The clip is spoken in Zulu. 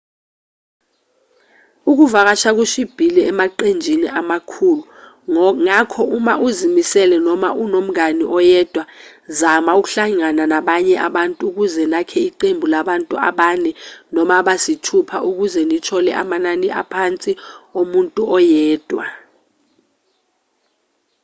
ukuvakasha kushibhile emaqenjini amakhulu ngakho uma uzimele noma unomngane oyedwa zama ukuhlangana nabanye abantu ukuze nakhe iqembu labantu abane noma abasithupha ukuze nithole amanani aphansi omuntu oyedwa